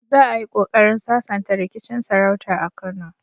Za a yi kokarin sasanta rikicin sarauta a Kano.